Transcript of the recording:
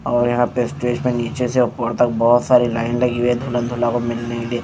और यहाँ पे स्टेज पे नीचे से ऊपर तक बहुत सारी लाइन लगी हुई है दुल्हन-दूल्हा को मिलने के लिए--